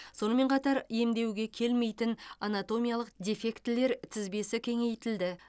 сонымен қатар емдеуге келмейтін анатомиялық дефектілер тізбесі кеңейтілді